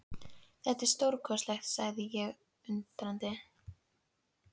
Þetta er stórkostlegt sagði ég undrandi.